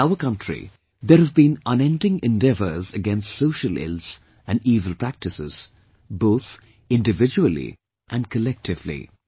In our country, there have been unending endeavours against social ills and evil practices, both individually & collectively